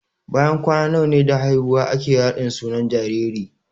Bayan kwana nawa da haihuwa ake raɗin sunan jariri?